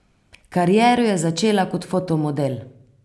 Kariero je začela kot fotomodel.